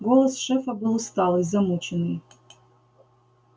голос шефа был усталый замученный